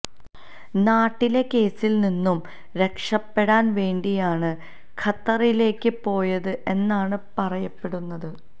നാട്ടിലെ കേസിൽ നിന്നും രക്ഷപ്പെടാൻ വേണ്ടിയാണ് ഖത്തറിലേക്ക് പോയത് എന്നാണ് പറയപ്പെടുന്നത്